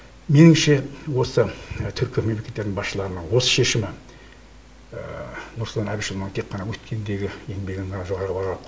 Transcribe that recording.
меніңше осы түркі мемлекеттері басшыларының осы шешімі нұрсұлтан әбішұлының тек қана өткендегі еңбегін ғана жоғары бағалап